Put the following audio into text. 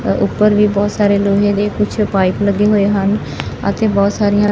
ਉਪਰ ਵੀ ਬਹੁਤ ਸਾਰੇ ਲੋਹੇ ਦੇ ਕੁਛ ਪਾਈਪ ਲੱਗੇ ਹੋਏ ਹਨ ਅਤੇ ਬਹੁਤ ਸਾਰੀਆਂ--